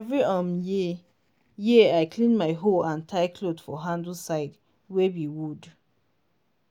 every um year year i clean my hoe and tie cloth for handle side wey b wood